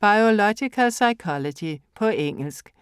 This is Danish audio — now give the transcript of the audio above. Biological psychology På engelsk.